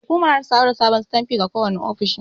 Hukumar zata samar da sabon sitanfi ga kowane ofishi.